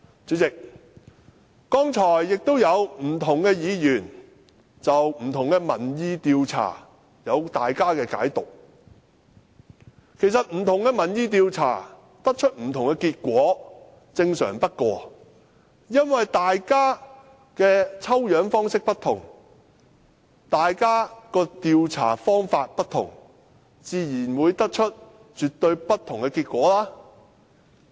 主席，剛才不同議員就不同民意調查有各自的解讀，其實不同民意調查得出不同的結果，是最正常不過的，因為大家的抽樣方式不同、調查方法不同，自然會得出絕對不同的結果。